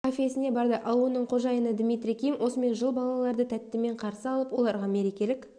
кафесіне барды ал оның қожайыны дмитрий ким осымен жыл балаларды тәттімен қарсы алып оларға мерекелік